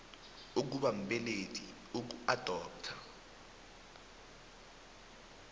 ukuba mbelethi ukuadoptha